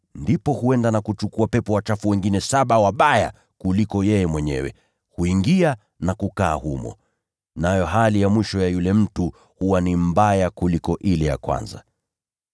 ndipo huenda na kuchukua pepo wachafu wengine saba wabaya kuliko yeye mwenyewe, nao huingia na kukaa humo. Nayo hali ya mwisho ya yule mtu huwa ni mbaya kuliko ile ya kwanza.”